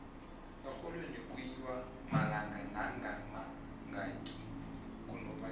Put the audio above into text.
exholweni kuyiwa inmalanga nakamangaki kunubayeni